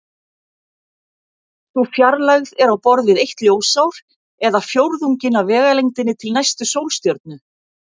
Sú fjarlægð er á borð við eitt ljósár eða fjórðunginn af vegalengdinni til næstu sólstjörnu.